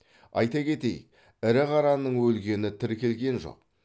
айта кетейік ірі қараның өлгені тіркелген жоқ